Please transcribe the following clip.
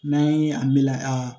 N'an ye a melege a